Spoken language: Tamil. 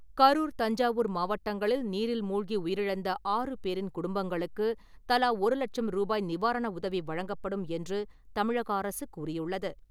கரூர், தஞ்சாவூர் மாவட்டங்களில் நீரில் மூழ்கி உயிரிழந்த ஆறு பேரின் குடும்பங்களுக்கு தலா ஒரு லட்சம் ரூபாய் நிவாரண உதவி வழங்கப்படும் என்று தமிழக அரசு கூறியுள்ளது.